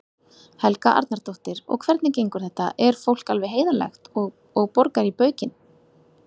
Helga Arnardóttir: Og hvernig gengur þetta, er fólk alveg heiðarlegt og, og borgar í baukinn?